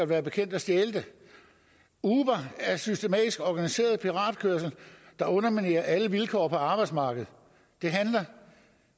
være bekendt at stjæle det uber er systematisk organiseret piratkørsel der underminerer alle vilkår på arbejdsmarkedet